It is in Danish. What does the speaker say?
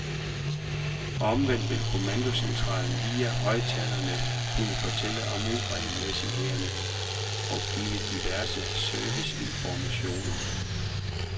Omvendt vil kommandocentralen via højttalere kunne fortælle om uregelmæssigheder og give diverse serviceinformationer.